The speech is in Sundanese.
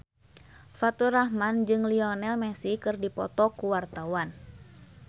Faturrahman jeung Lionel Messi keur dipoto ku wartawan